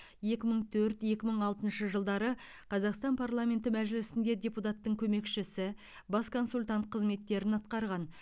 екі мың төрт екі мың алтыншы жылдары қазақстан парламенті мәжілісінде депутаттың көмекшісі бас консультант қызметтерін атқарған